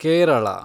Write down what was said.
Kerala